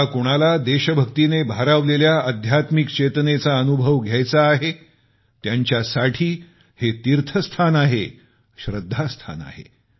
ज्या कोणाला देशभक्तीने भारावलेल्या आध्यात्मिक चेतनेचा अनुभव घ्यायचा आहे त्यांचासाठी हे तीर्थस्थान आहे श्रद्धास्थान आहे